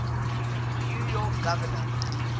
new york governor